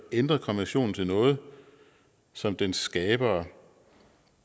ændret konventionen til noget som dens skabere